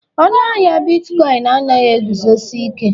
Ọnụ ahịa bitkọịn anaghị eguzosi ike